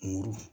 Woro